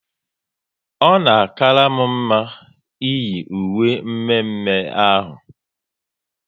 Ọ na akara m mma iyi uwe mme mme ahụ